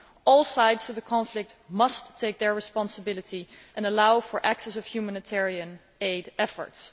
All sides of the conflict must take their responsibility and allow the access of humanitarian aid efforts.